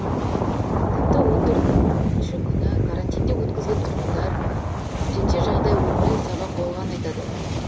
тіпті он төртінші күні карантинде өткізген тұрғындар төтенше жағдай өмірлік сабақ болғанын айтады